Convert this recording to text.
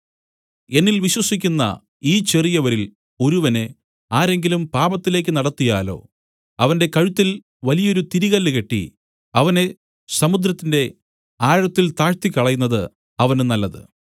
എന്നിൽ വിശ്വസിക്കുന്ന ഈ ചെറിയവരിൽ ഒരുവനെ ആരെങ്കിലും പാപത്തിലേക്ക് നടത്തിയാലോ അവന്റെ കഴുത്തിൽ വലിയൊരു തിരികല്ല് കെട്ടി അവനെ സമുദ്രത്തിന്റെ ആഴത്തിൽ താഴ്ത്തിക്കളയുന്നത് അവന് നല്ലത്